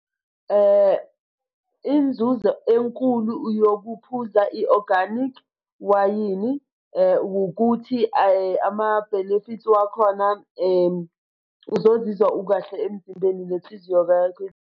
Inzuzo enkulu yokuphuza i-organic wayini ukuthi ama-benefits wakhona uzozizwa ukahle emzimbeni nenhliziyo yakho.